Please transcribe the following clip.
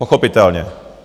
Pochopitelně.